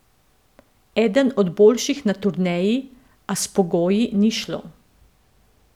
Eden od boljših na turneji, a s pogoji ni šlo.